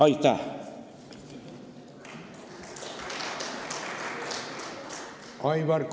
Aitäh!